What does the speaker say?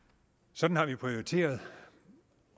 sådan har vi prioriteret